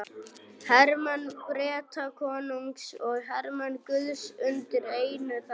Hermenn Bretakonungs og hermenn guðs undir einu þaki.